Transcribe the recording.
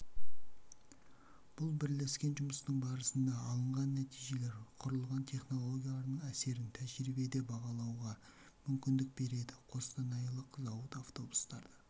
бұл бірлескен жұмыстың барысында алынған нәтижелер құрылған технологиялардың әсерін тәжірибеде бағалауға мүмкіндік береді костанайлық зауыт автобустарды